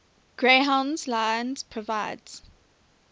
greyhound lines provides